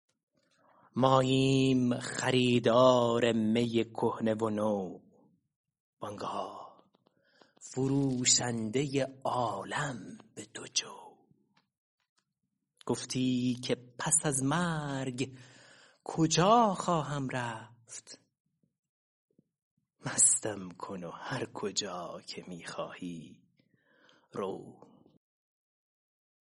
ماییم خریدار می کهنه و نو وآن گاه فروشنده عالم به دو جو گفتی که پس از مرگ کجا خواهم رفت مستم کن و هر کجا که می خواهی رو